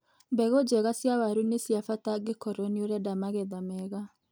Mbegũ njega cia waru nĩ ciabata angĩkorwo nĩ ũrenda magetha mega.